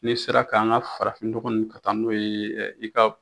N'i sera ka an ka farafin nɔgɔ ninnu, ka taa n'o ye i ka